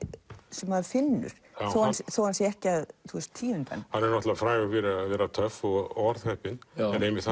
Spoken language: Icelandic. sem maður finnur þó hann þó hann sé ekki að tíunda hann hann er frægur fyrir að vera töff og orðheppinn en einmitt